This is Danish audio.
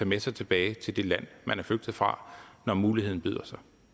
med sig tilbage til det land man er flygtet fra når muligheden byder